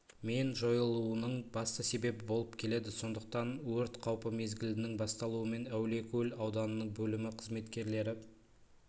мен жойылуының басты себебі болып келеді сондықтан өрт қаупі мезгілінің басталуымен әулиекөл ауданының бөлімі қызметкерлері